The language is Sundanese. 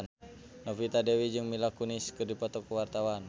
Novita Dewi jeung Mila Kunis keur dipoto ku wartawan